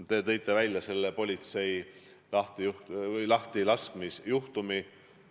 Te tõite välja selle politseijuhi lahtilaskmise juhtumi.